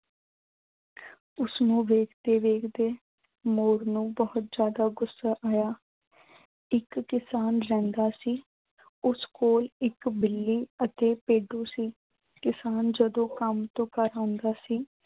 ਉਸਨੂੰ ਵੇਖਦੇ ਵੇਖਦੇ ਮੋਰ ਨੂੰ ਬਹੁਤ ਜ਼ਿਆਦਾ ਗੁੱਸਾ ਆਇਆ। ਇੱਕ ਕਿਸਾਨ ਰਹਿੰਦਾ ਸੀ। ਉਸ ਕੋਲ ਇੱਕ ਬਿੱਲੀ ਅਤੇ ਭੇਡੂ ਸੀ। ਕਿਸਾਨ ਜਦੋਂ ਕੰਮ ਤੋਂ ਘਰ ਆਉਂਦਾ ਸੀ